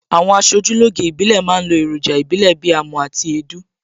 Àwọn aṣojúlóge ìbílẹ̀ ma ń lo èròjà ìbílè bíi amọ̀ àti èédú